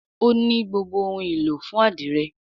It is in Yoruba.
O ní gbogbo òun ìlò fún adire